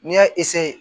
N'i y'a